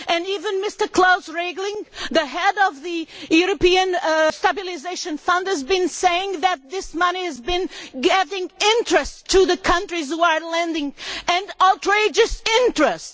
Even Mr Klaus Regling, the Head of the European Stabilisation Fund, has been saying that this money has been gaining interest for the countries which are lending, and outrageous interest!